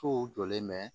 Sow jɔlen bɛ